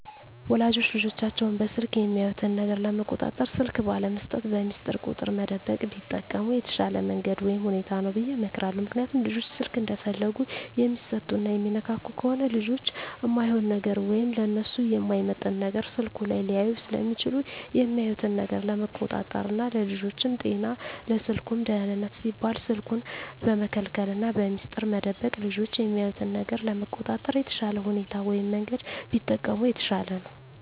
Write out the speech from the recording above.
ወላጆች ልጆቻቸውን በስልክ የሚያዩት ነገር ለመቆጣጠር ስልክ ባለመስጠት፣ በሚስጥር ቁጥር መደበቅ ቢጠቀሙ የተሻለ መንገድ ወይም ሁኔታ ነው ብየ እመክራለሁ። ምክንያቱም ልጆች ስልክ እንደፈለጉ የሚሰጡና የሚነካኩ ከሆነ ልጆች እማይሆን ነገር ወይም ለነሱ የማይመጥን ነገር ስልኩ ላይ ሊያዩ ስለሚችሉ የሚያዩትን ነገር ለመቆጣጠር ና ለልጆቹም ጤና ለስልኩም ደህንነት ሲባል ስልኩን በመከልከልና በሚስጥር መደበቅ ልጆች የሚያዩትን ነገር ለመቆጣጠር የተሻለ ሁኔታ ወይም መንገድ ቢጠቀሙ የተሻለ ነው።